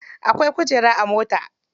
Akwai kujeru a mota.